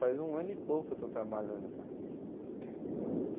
Faz um ano e pouco que eu estou trabalhando, cara.